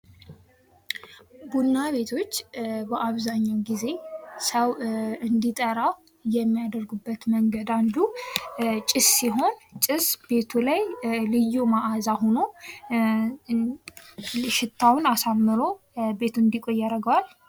ቡና ቤቶች በአብዛኛው ጊዜ ሰው እንዲጠራ የሚያደርጉበት መንገድ አንዱ ጭስ ሲሆን፤ ጭስ ቤቱ ላይ ልዩ መዓዛ ሆኖ ሽታውን አሳምሮ ቤቱ እንዲቆይ ያደርገዋል።